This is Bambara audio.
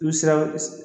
I sera